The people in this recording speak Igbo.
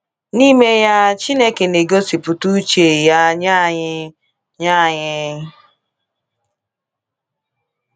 N’ime ya, Chineke na-egosipụta uche Ya nye anyị. nye anyị.